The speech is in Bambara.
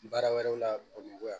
Baara wɛrɛw la bamakɔ yan